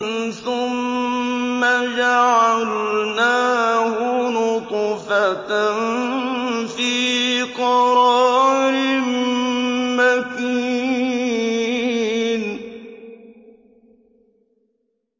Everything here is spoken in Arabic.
ثُمَّ جَعَلْنَاهُ نُطْفَةً فِي قَرَارٍ مَّكِينٍ